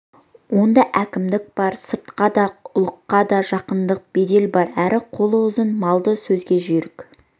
онда әкімдік бар сыртқа да ұлыққа да жақындық бедел бар әрі қолы ұзын малды сөзге жүйрік